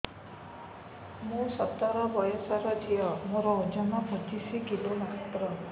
ମୁଁ ସତର ବୟସର ଝିଅ ମୋର ଓଜନ ପଚିଶି କିଲୋ ମାତ୍ର